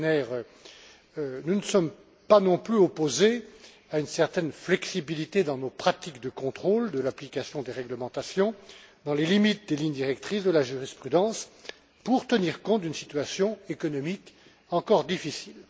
Skinner, nous ne sommes pas non plus opposés à une certaine flexibilité dans nos pratiques de contrôle de l'application des réglementations, dans les limites des lignes directrices de la jurisprudence, pour tenir compte d'une situation économique encore difficile.